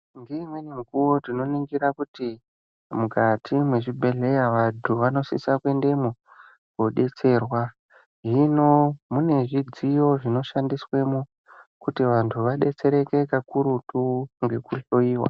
Ngeimweni mikuwo tinoningira kuti mukati mwezvibhedhleya, vanthu vanosisa kuendemwo koodetserwa, hino mune zvidziyo zvinoshandiswemwo, kuti vanthu vadetsereke kakurutu, ngekuhloiwa.